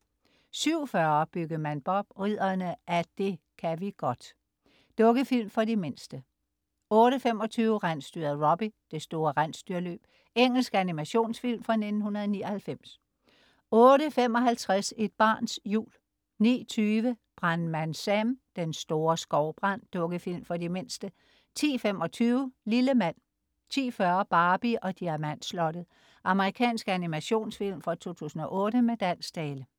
07.40 Byggemand Bob: Ridderne af det ka' vi godt. Dukkefilm for de mindste 08.25 Rensdyret Robbie: Det store rensdyrløb. Engelsk animationsfilm fra 1999 08.55 Et barns jul 09.20 Brandmand Sam: Den store skovbrand. Dukkefilm for de mindste 10.25 Lille mand 10.40 Barbie og Diamantslottet. Amerikansk animationsfilm fra 2008 med dansk tale